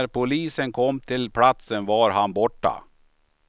När polisen kom till platsen var han borta.